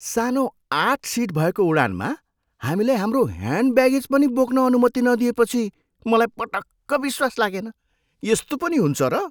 सानो आठ सिट भएको उडानमा हामीलाई हाम्रो ह्यान्ड ब्यागेज पनि बोक्न अनुमति नदिएपछि मलाई पटक्क विश्वास लागेन। यस्तो पनि हुन्छ र?